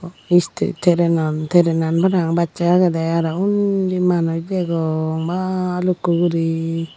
train an train an parapang bachey agede aro undi manuj degong bhalukku guri.